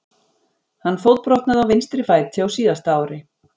Hann fótbrotnaði á vinstri fæti á síðasta ári.